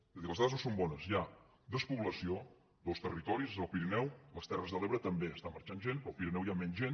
és a dir les dades no són bones hi ha despoblació dos territoris el pirineu a les terres de l’ebre també està marxant gent però al pirineu hi ha menys gent